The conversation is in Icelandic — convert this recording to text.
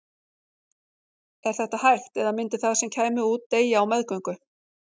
Er þetta hægt eða myndi það sem kæmi út deyja á meðgöngu?